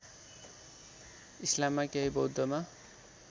इस्लाममा केही बौद्धमा